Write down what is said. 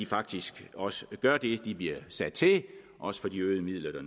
faktisk også gør det de bliver sat til også for de øgede midler der